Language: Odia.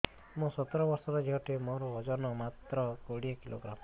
ମୁଁ ସତର ବର୍ଷ ଝିଅ ଟେ ମୋର ଓଜନ ମାତ୍ର କୋଡ଼ିଏ କିଲୋଗ୍ରାମ